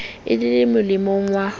e le le molemong wa